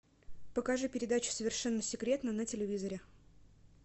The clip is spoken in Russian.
покажи передачу совершенно секретно на телевизоре